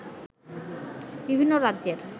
বিভিন্ন রাজ্যের